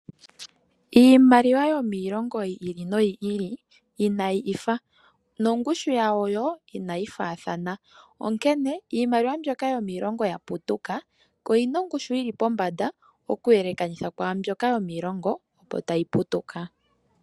Iimaliwa yomiilongo yi ili noyi ili inayi ifa, nongushu yawo wo inayi faathana, onkene iimaliwa yomiilongo mbyoka ya putuka oyi na ongushu yili pombanda okuyelekanitha kwaambyoka yomiilongo opo tayi putuka.